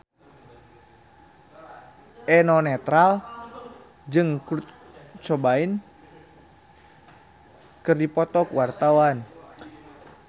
Eno Netral jeung Kurt Cobain keur dipoto ku wartawan